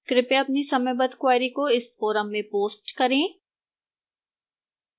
कृपया अपनी समयबद्ध queries को इस forum में post करें